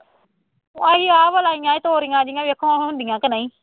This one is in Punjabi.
ਅਸੀਂ ਆਪ ਲਾਈਆਂ ਸੀ ਤੋਰੀਆਂ ਵੇਖੌ ਹੁਣ ਹੁੰਦੀਆਂ ਕਿ ਨਹੀਂ